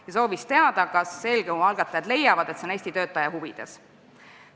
Ta soovis teada, kas eelnõu algatajad leiavad, et see on Eesti töötajate huvides.